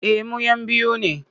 Eh mu'yan biyu ne.